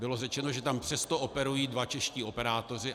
Bylo řečeno, že tam přesto operují dva čeští operátoři.